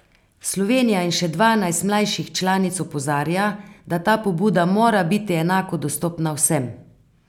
Slovenija in še dvanajst mlajših članic opozarja, da ta pobuda mora biti enako dostopna vsem.